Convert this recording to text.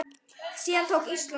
Síðan tók Ísland við.